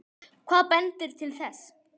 Hvað bendir til þess?